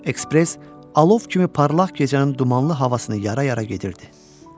Ekspress alov kimi parlaq gecənin dumanlı havasını yara-yara gedirdi.